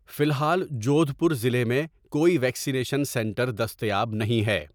فی الحال جودھ پور ضلع میں کوئی ویکسینیشن سنٹر دستیاب نہیں ہے۔